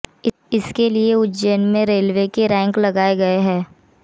इसके लिए उज्जैन में रेलवे के रैक लगाए गए हैं